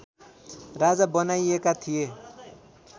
राजा बनाइएका थिए